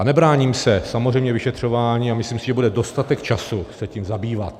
A nebráním se samozřejmě vyšetřování a myslím si, že bude dostatek času se tím zabývat.